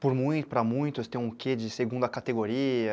Por muitos, para muitos tem um quê de segunda categoria.